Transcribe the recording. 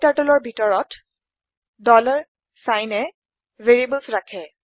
KTurtleৰ ভিতৰত signএ ভেৰিয়েবল্চ ৰাখে